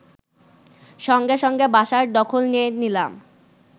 সঙ্গে সঙ্গে বাসার দখল নিয়ে নিলাম